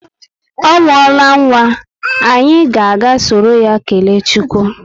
Ọ muola nwa, anyị ga aga soro ya kelee chukwu